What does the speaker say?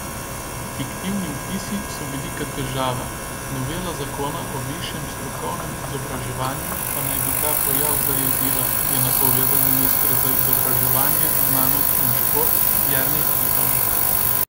Fiktivni vpisi so velika težava, novela zakona o višjem strokovnem izobraževanju pa naj bi ta pojav zajezila, je napovedal minister za izobraževanje, znanost in šport Jernej Pikalo.